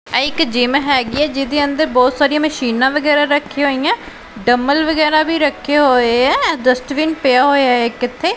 ਆਹ ਇੱਕ ਜਿੱਮ ਹੈਗੀ ਹੈ ਜਿਹਦੇ ਅੰਦਰ ਬਹੁਤ ਸਾਰੀਆਂ ਮਸ਼ੀਨਾਂ ਵਗੈਰਾ ਰੱਖੀਆਂ ਹੋਈਆਂ ਡੰਬੇਲ ਵਗੈਰਾ ਵੀ ਰੱਖੇ ਹੋਏ ਹੈਂ ਡਸਟਬਿਨ ਪਿਆ ਹੋਇਆ ਹੈ ਇੱਕ ਇੱਥੇ।